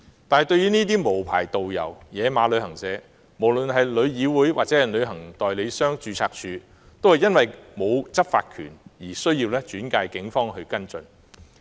面對這些無牌導遊及"野馬"旅行社，無論是旅議會或註冊處，都因為沒有執法權而須轉介警方跟進。